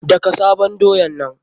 Daka sabon doyan nan!